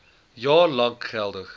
jaar lank geldig